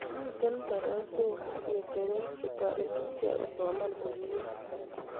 Mitei tarasok ak ngecherok chetoriti ichek kosoman komye